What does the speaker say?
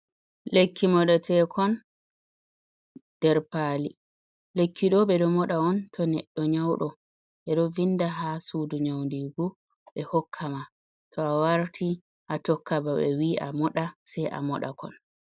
Lekki modatekon der pali. lekkiɗo be do moda on to neddo nyaudo. Be do vinda ha sudu nyaudigu be hokka ma. To awarti a tokka ba be wii a moda sai a moda kon.